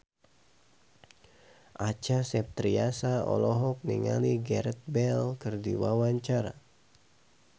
Acha Septriasa olohok ningali Gareth Bale keur diwawancara